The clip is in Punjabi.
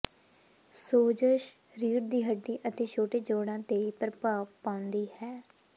ਸੋਜਸ਼ ਰੀੜ੍ਹ ਦੀ ਹੱਡੀ ਅਤੇ ਛੋਟੇ ਜੋੜਾਂ ਤੇ ਪ੍ਰਭਾਵ ਪਾਉਂਦੀ ਹੈ